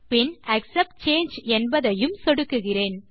பின் accept சாங்கே என்பதையும் சொடுக்குகிறேன்